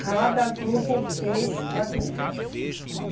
Cada grupo fez adubos.